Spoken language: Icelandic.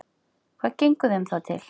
Hvað gengur þeim þá til?